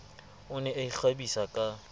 o ne a ikgabisa ka